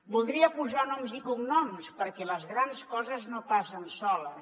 voldria posar noms i cognoms perquè les grans coses no passen soles